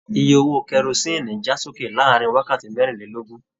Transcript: Ìyè owó kerosinni já sókè láàrin wákàtí merinlelogun.